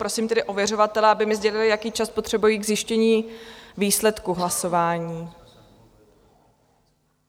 Prosím tedy ověřovatele, aby mi sdělili, jaký čas potřebují k zjištění výsledku hlasování.